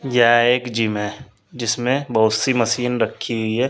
यह एक जिम है जिसमें बहोत सी मशीन रखी हुई है।